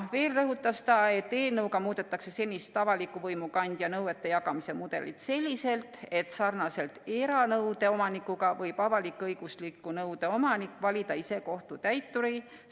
Veel rõhutas ta, et eelnõuga muudetakse senist avaliku võimu kandja nõuete jagamise mudelit selliselt, et nagu ka eranõude omanik võib avalik-õigusliku nõude omanik valida ise kohtutäituri.